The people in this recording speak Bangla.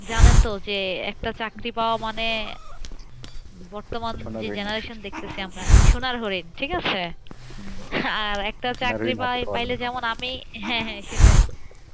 জানেন তো যে একটা চাকরি পাওয়া মানে বর্তমান যে generation দেখতেছি আমরা। সোনার হরিণ ঠিক আছে। আর একটা চাকরি পাই পাইলে যেমন আমি। হ্যাঁ, হ্যাঁ সেটাই